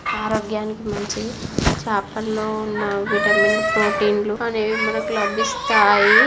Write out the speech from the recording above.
ఆరోగ్యానికి మంచిది చేపల్లో ఉన్న విటమిన్ ప్రోటీన్ లు మనకు లభిస్తాయి.